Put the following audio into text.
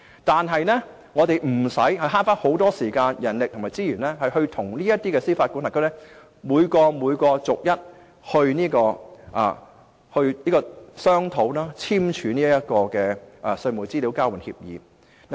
但是，我們可以節省大量時間、人力和資源，無須與這些司法管轄區逐一商討及簽署稅務資料交換協議。